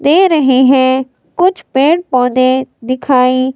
दे रहे हैं कुछ पेड़ पौधे दिखाई--